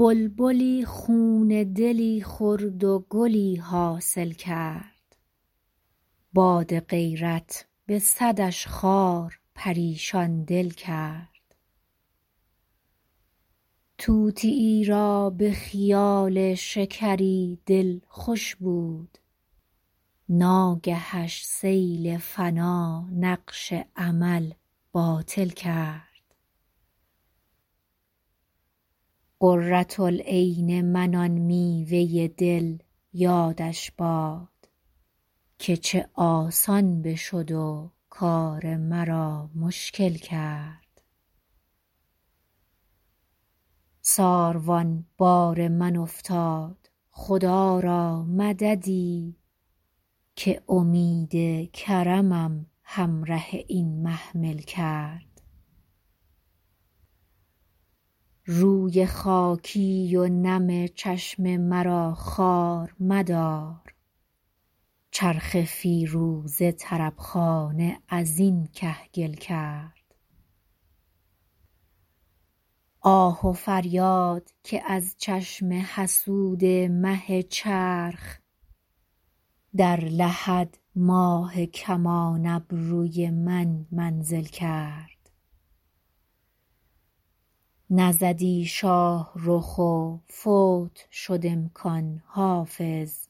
بلبلی خون دلی خورد و گلی حاصل کرد باد غیرت به صدش خار پریشان دل کرد طوطیی را به خیال شکری دل خوش بود ناگهش سیل فنا نقش امل باطل کرد قرة العین من آن میوه دل یادش باد که چه آسان بشد و کار مرا مشکل کرد ساروان بار من افتاد خدا را مددی که امید کرمم همره این محمل کرد روی خاکی و نم چشم مرا خوار مدار چرخ فیروزه طرب خانه از این کهگل کرد آه و فریاد که از چشم حسود مه چرخ در لحد ماه کمان ابروی من منزل کرد نزدی شاه رخ و فوت شد امکان حافظ